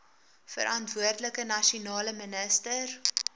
verantwoordelike nasionale minister